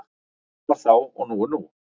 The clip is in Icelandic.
Það var þá og nú er nú.